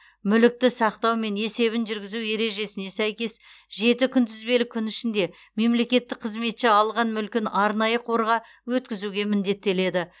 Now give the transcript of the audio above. мүлікті сақтау мен есебін жүргізу ережесіне сәйкес жеті күнтізбелік күн ішінде мемлекеттік қызметші алған мүлкін арнайы қорға өткізуге міндеттеледі